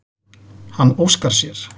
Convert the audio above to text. Hann óskar sér.